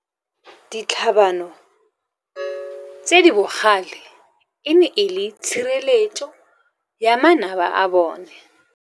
Ditlhabano tse di bogale e ne e le tshireletso ya manaba a bone.